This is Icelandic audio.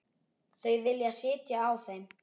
Þau vilja sitja á þeim.